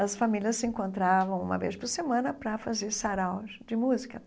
As famílias se encontravam, uma vez por semana, para fazer saraus de música.